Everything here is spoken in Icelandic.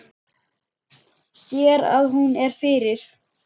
Sér að hún er fyrir.